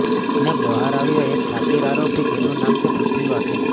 અને બહાર આવ્યો એક શાતીર આરોપી જેનું નામ છે પૃથ્વી વાઘેલા